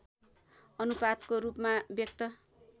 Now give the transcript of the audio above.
अनुपातको रूपमा व्यक्त